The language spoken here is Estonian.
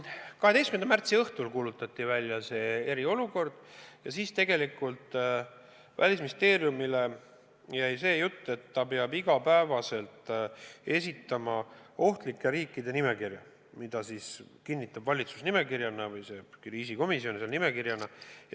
12. märtsi õhtul kuulutati välja eriolukord ja siis jäi Välisministeeriumile ülesanne, et ta peab iga päev esitama ohtlike riikide nimekirja, mille kinnitab valitsus või see kriisikomisjon nimekirjana.